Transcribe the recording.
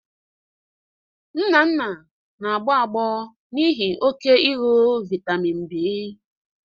Nnanna na-agbọ agbọ n'ihi oke ịñụ vitamin B